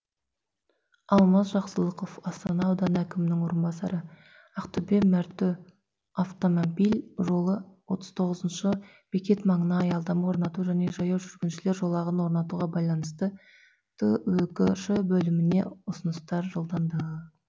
алмаз жақсылықов астана ауданы әкімінің орынбасары ақтөбе мәртө автомобиль жолы отыз тоғызыншы бекет маңына аялдама орнату және жаяу жүргіншілер жолағын орнатуға байланысты түкш бөліміне ұсынысты жолданды